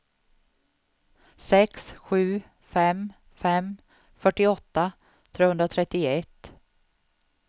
sex sju fem fem fyrtioåtta trehundratrettioett